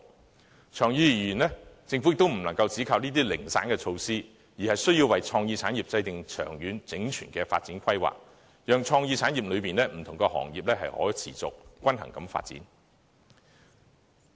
可是，長遠而言，政府也不能只靠這些零散措施，而需要為創意產業制訂長遠、整全的發展規劃，讓創意產業內的不同行業可以持續和均衡發展。